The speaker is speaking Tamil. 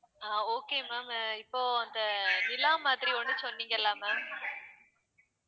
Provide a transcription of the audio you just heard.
அஹ் okay ma'am இப்போ அந்த நிலா மாதிரி ஒண்ணு சொன்னீங்கல ma'am